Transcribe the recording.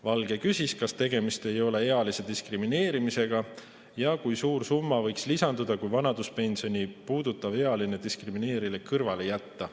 Valge küsis, kas tegemist ei ole ealise diskrimineerimisega ja kui suur summa võiks lisanduda, kui vanaduspensioni puudutav ealine diskrimineerimine kõrvale jätta.